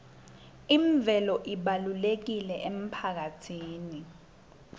imvelo ibalulekile emphakatsini